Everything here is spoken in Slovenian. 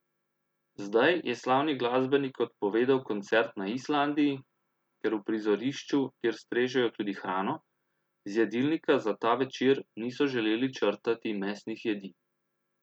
Zdaj je slavni glasbenik odpovedal koncert na Islandiji, ker v prizorišču, kjer strežejo tudi hrano, z jedilnika za ta večer niso želeli črtati mesnih jedi.